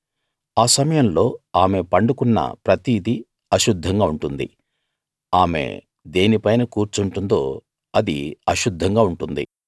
ఆ సమయంలో ఆమె పండుకున్న ప్రతిదీ అశుద్ధంగా ఉంటుంది ఆమె దేనిపైన కూర్చుంటుందో అది అశుద్ధంగా ఉంటుంది